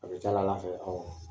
A bɛ taa fɛ